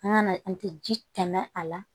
An ka na an tɛ ji tɛmɛ a la